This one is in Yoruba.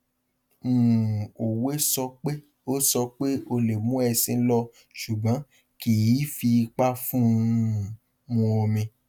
um òwe sọ pé o sọ pé o lè mú ẹṣin lọ ṣùgbọn kì í fi ipa fún un um mu omi